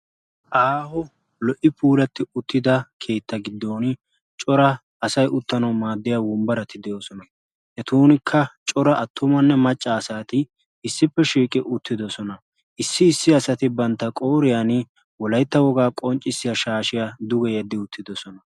Aaho lo;;o puulatida keetta giddon asay uttanaw maaddiya wombbarati de'oosona. etunkka coraa attumanne maccaa asati issippe shiiqi uttidoosona. issi isssi asati bantta qooriyaan wolaytta wogaa qonccissiyaa shaashshiyaa duge yedi uttidoosona.